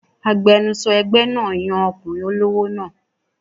Agbẹnusọ ẹgbẹ́ náà yan ọkùnrin olówó náà